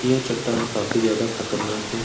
यह चट्टान काफी ज्यादा खतरनाक है।